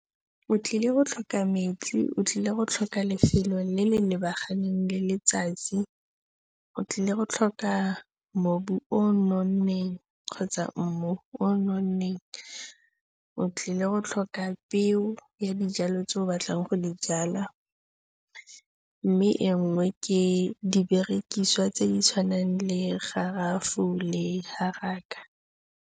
O tlile go tlhoka metsi, o tlile go tlhoka lefelo le le lebaganeng le letsatsi, o tlile go tlhoka mobu o o nonneng kgotsa mmu o o nonneng, o tlile go tlhoka peo ya dijwalo tse o batlang go di jwala, mme e nngwe ke diberekisiwa tse di tshwanang le garawe le haraka.